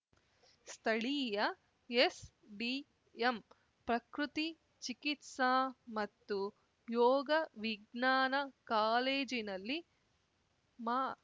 ಸ್ಥಳೀಯ ಎಸ್ಡಿಎಂ ಪ್ರಕೃತಿ ಚಿಕಿತ್ಸಾ ಮತ್ತು ಯೋಗ ವಿಜ್ಞಾನ ಕಾಲೇಜಿನಲ್ಲಿ ಮಾ